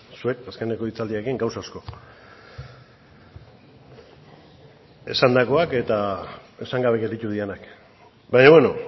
zuek azkeneko hitzaldiarekin gauza asko esandakoak eta esan gabe gelditu direnak baina beno